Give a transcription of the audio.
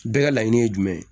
Bɛɛ ka laɲini ye jumɛn ye